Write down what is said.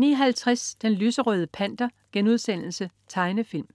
09.50 Den lyserøde Panter.* Tegnefilm